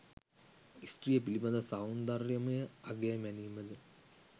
ස්ත්‍රිය පිළිබඳව සෞන්දර්යමය අගය මැනීම ද